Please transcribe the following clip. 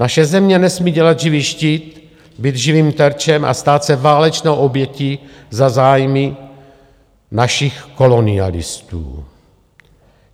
Naše země nesmí dělat živý štít, být živým terčem a stát se válečnou obětí za zájmy našich kolonialistů.